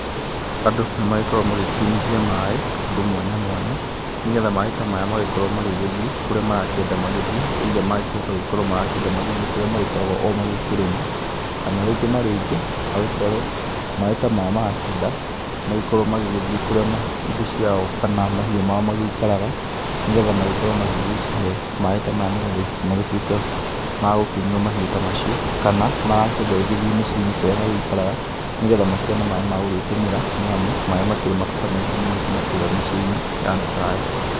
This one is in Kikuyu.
Andũ nĩ magĩkoragwo magĩkiunithia maaĩ kũndũ mwanya mwanya, nĩgetha maaĩ ta maya magĩkorwo magĩgĩthiĩ kũria marakĩenda magĩthiĩ either magĩkĩhote gũgĩkorwo marakĩenda magĩthiĩ kũrĩa magĩkoragwo o magĩkĩrĩma, kana rĩngĩ na rĩngĩ magĩkorwo maaĩ ta maya marakĩenda magĩkorwo magĩgĩthiĩ kuria indo ciao kana mahiũ mao magĩikaraga, nĩgetha magĩkorwo magĩgĩcihe maaĩ ta maya, nĩgetha magĩtuĩke magũkĩnyua mahiũ ta macio, kana marakĩenda ĩgĩthiĩ mĩciĩ-inĩ kũrĩa magĩikaraga, nĩgetha makĩone maaĩ ma gũgĩtũmĩra nĩ amu, maaĩ makĩrĩ mabata maingĩ ngina kũũrĩa mĩciĩ-inĩ ya andũ ta aya.